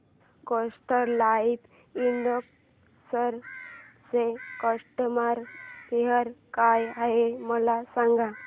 Kotak life insurance चा customer care काय आहे मला सांगा